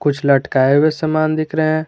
कुछ लटकाए हुए सामान दिख रहे हैं।